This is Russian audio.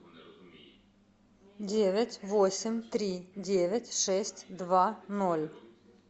девять восемь три девять шесть два ноль